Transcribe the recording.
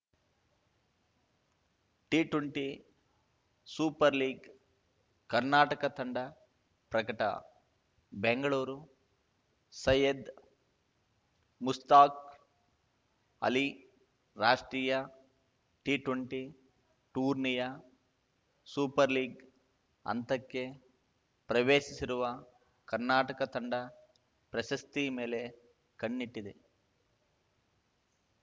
T twenty super league Karnataka ತಂಡ ಪ್ರಕಟ ಬೆಂಗಳೂರು ಸಯ್ಯದ್‌ ಮುಷ್ತಾಕ್‌ ಅಲಿ ರಾಷ್ಟ್ರೀಯ ಟಿಟ್ವೆಂಟಿ ಟೂರ್ನಿಯ ಸೂಪರ್‌ ಲೀಗ್‌ ಹಂತಕ್ಕೆ ಪ್ರವೇಶಿಸಿರುವ ಕರ್ನಾಟಕ ತಂಡ ಪ್ರಶಸ್ತಿ ಮೇಲೆ ಕಣ್ಣಿಟ್ಟಿದೆ